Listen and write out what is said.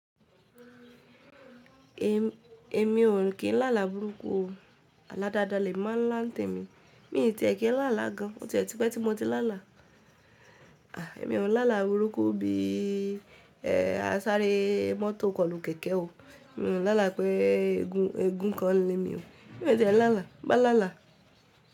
Èmi ò kí n láàlà burúkú o. Àlá dáadáa lèmi máa ń lá ǹtemi. Mi ò tìẹ̀ kí n láàlà gan an. Ó tiẹ̀ ti pẹ́ tí mo ti láàlà. À, èmi ò n láàlà burúkú bí i, ẹ́, à n sáré mọ́tò kọlu kẹ̀kẹ́ o. Mi ò láàlà pé éégún kan n lémi o. Mi ò n tiẹ̀ n láàlà. Ba láàlà.